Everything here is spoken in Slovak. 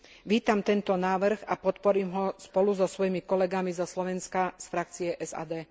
Vítam tento návrh a podporím ho spolu so svojimi kolegami zo Slovenska z frakcie SD.